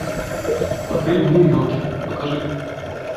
апрель в нью йорке покажи